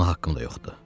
Buna haqqım da yoxdur.